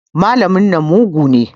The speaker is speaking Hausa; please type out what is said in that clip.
Malamin nan mugu ne.